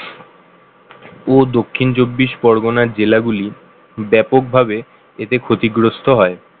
ও দক্ষিণ চব্বিশ পরগনা জেলাগুলি ব্যাপকভাবে এতে ক্ষতিগ্রস্ত হয়